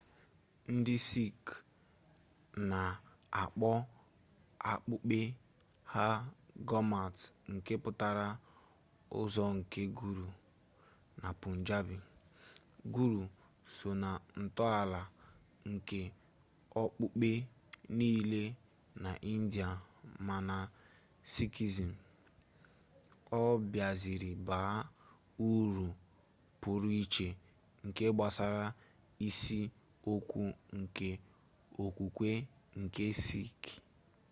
ndị sikh na-akpọ okpukpe ha gurmat nke pụtara ụzọ nke guru na punjabi guru so na ntọala nke okpukpe niile na india mana na sikhism ọ biaziri baa uru pụrụ iche nke gbasara isi okwu nke okwukwe ndị sikh